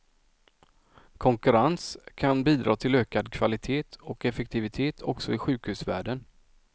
Konkurrens kan bidra till ökad kvalitet och effektivitet också i sjukhusvärlden.